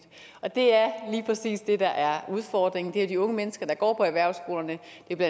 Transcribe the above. og det er lige præcis det der er udfordringen det er de unge mennesker der går på erhvervsskolerne